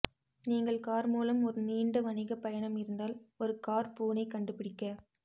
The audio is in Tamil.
நீங்கள் கார் மூலம் ஒரு நீண்ட வணிக பயணம் இருந்தால் ஒரு கார் பூனை கண்டுபிடிக்க